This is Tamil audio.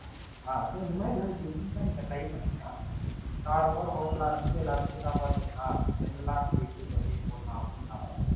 அஹ் So நீங்க Different ஆ நீங்க Try பண்ணிங்கனா Normal ஆ ஒரு Hotel ஆரம்பிச்சுஎல்லாருக்கும் சாப்பாடு கொடுக்கலாம். General ஆ இட்லி தோசை போடலாம்னு இல்லாம